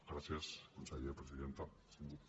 gràcies conseller presidenta síndic